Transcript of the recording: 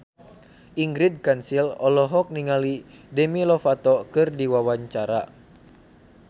Ingrid Kansil olohok ningali Demi Lovato keur diwawancara